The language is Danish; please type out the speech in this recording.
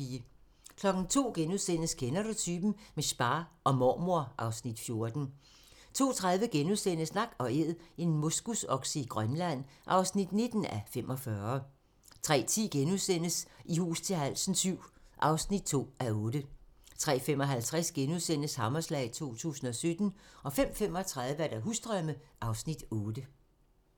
02:00: Kender du typen? - med spa og mormor (Afs. 14)* 02:30: Nak & Æd - en moskusokse i Grønland (19:45)* 03:10: I hus til halsen VII (2:8)* 03:55: Hammerslag 2017 * 05:35: Husdrømme (Afs. 8)